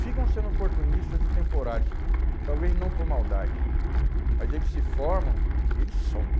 Ficam sendo oportunistas e temporários, talvez não por maldade, mas eles se formam e eles somem.